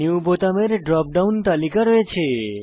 new বোতামের drop down তালিকা রয়েছে